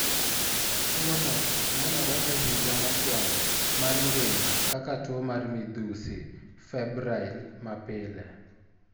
Tuwono nenore e higa mokwongo mar ngima kaka tuo mar midhusi (febrile) mapile.